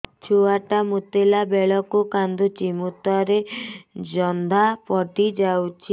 ଛୁଆ ଟା ମୁତିଲା ବେଳକୁ କାନ୍ଦୁଚି ମୁତ ରେ ଜନ୍ଦା ପଡ଼ି ଯାଉଛି